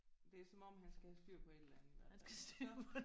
Det er som om han skal have styr på et eller andet i hvert fald